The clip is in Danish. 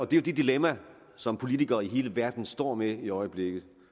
det dilemma som politikere i hele verden står med i øjeblikket